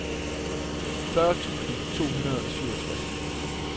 fyrre tusind to hundrede og syvogtres